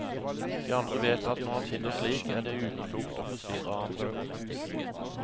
De andre vet at når han sitter slik, er det uklokt å forstyrre ham.